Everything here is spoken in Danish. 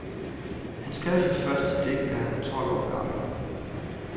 Han skrev sit første digt, da han var tolv år gammel.